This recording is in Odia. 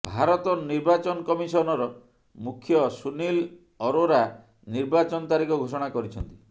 ଭାରତ ନିର୍ବାଚନ କମିଶନର ମୁଖ୍ୟ ସୁନିଲ ଅରୋରା ନିର୍ବାଚନ ତାରିଖ ଘୋଷଣା କରିଛନ୍ତି